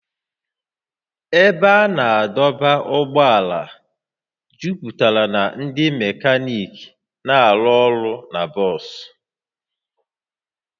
Ebe a na-adọba ụgbọala juputara na ndị mekaniiki na-arụ ọrụ na bọs